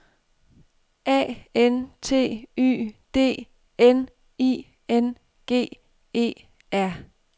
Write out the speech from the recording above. A N T Y D N I N G E R